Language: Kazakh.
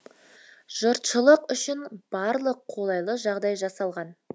жұртшылық үшін барлық қолайлы жағдай жасалған